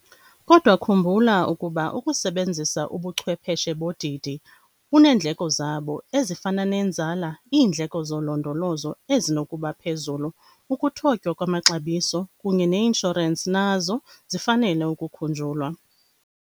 Kodwa khumbula ukuba ukusebenzisa ubuchwepheshe bodidi buneendleko zabo, ezifana nenzala, iindleko zolondolozo ezinokuba phezulu, ukuthotywa kwamaxabiso, kunye neinshorensi, nazo zifanele ukukhunjulwa.